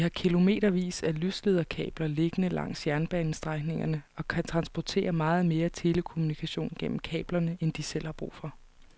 De har kilometervis af lyslederkabler liggende langs jernbanestrækningerne og kan transportere meget mere telekommunikation gennem kablerne end de selv har brug for.